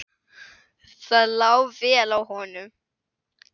Það lá vel á honum.